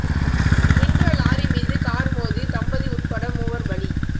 நின்ற லாரி மீது கார் மோதி தம்பதி உட்பட மூவர் பலி